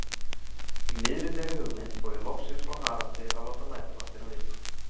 Í miðri þeirri hugmynd fór ég loksins frá Haraldi að láta næturvaktina vita.